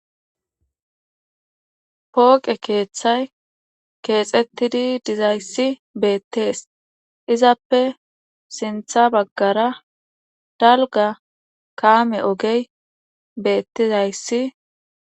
Pooqe keeththay keexettidi dizayssi beettees izappe sintha baggara dalga kaame ogey beettizayssi.